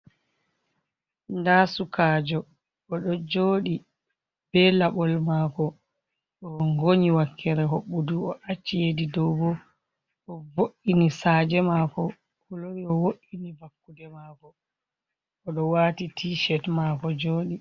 Nda sukajo oɗo joɗi be laɓol mako, o ngonyi wakkere hobɓundu o acci hedi dow bo o vo’ini saje mako o lori o wo’ini vakkude mako o do wati tiset mako jodi.